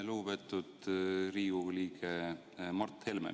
Lugupeetud Riigikogu liige Mart Helme!